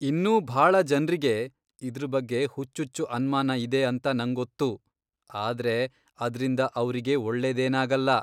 ಇನ್ನೂ ಭಾಳ ಜನ್ರಿಗೆ ಇದ್ರ್ ಬಗ್ಗೆ ಹುಚ್ಚುಚ್ಚು ಅನ್ಮಾನ ಇದೆ ಅಂತಾ ನಂಗೊತ್ತು, ಆದ್ರೆ ಅದ್ರಿಂದ ಅವ್ರಿಗೆ ಒಳ್ಳೇದೇನಾಗಲ್ಲ.